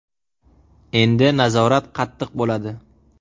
Endi nazorat qattiq bo‘ladi.